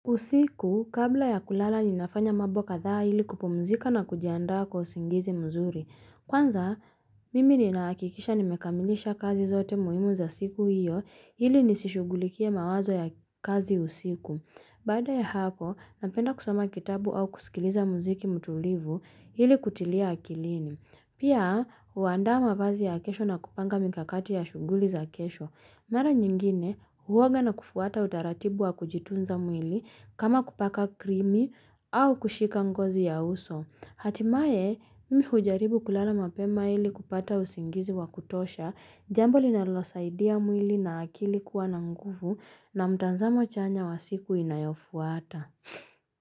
Usiku, kabla ya kulala, ninafanya mambo kadhaa ili kupumzika na kujiandaa kwa usingizi mzuri. Kwanza, mimi ninahakikisha nimekamilisha kazi zote muhimu za siku hiyo, ili nisishughulikie mawazo ya kazi usiku. Baada ya hapo, napenda kusoma kitabu au kusikiliza muziki mtulivu ili kutilia akilini. Pia, huandaa mavazi ya kesho na kupanga mikakati ya shughuli za kesho. Mara nyingine huoga na kufuata utaratibu wa kujitunza mwili kama kupaka krimi au kushika ngozi ya uso. Hatimaye mimi hujaribu kulala mapema ili kupata usingizi wa kutosha, jambo linalo saidia mwili na akili kuwa na nguvu na mtazamo chanya wa siku inayofuata.